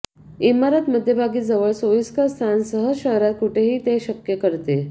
इमारत मध्यभागी जवळ सोयीस्कर स्थान सहज शहरात कुठेही ते शक्य करते